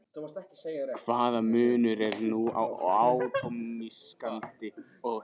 Hvaða munur er nú á atómskáldi og hinum?